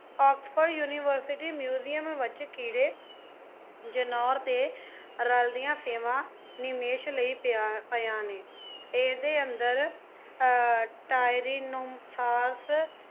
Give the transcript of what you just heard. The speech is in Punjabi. ਆਕਸਫ਼ੋਰਡ ਯੂਨੀਵਰਸਿਟੀ ਮਿਊਜ਼ੀਅਮ ਵੱਜ ਕੀੜੇ ਜਨੌਰ ਅਤੇ ਰਲਦੀਆਂ ਸੇਵਾ ਨਿਮੇਸ਼ ਲਈ ਪਿਆ ਪਿਆਂ ਨੇਂ। ਇਹਦੇ ਅੰਦਰ ਅਹ ਟਾਇਰੀਨੋਸਾਰਸ